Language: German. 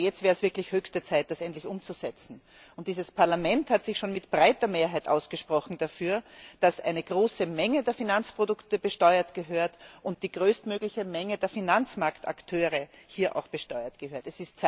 Aber jetzt wäre es wirklich höchste Zeit, das endlich umzusetzen. Dieses Parlament hat sich schon mit breiter Mehrheit dafür ausgesprochen, dass eine große Menge der Finanzprodukte besteuert gehört und die größtmögliche Menge der Finanzmarktakteure hier auch besteuert gehört.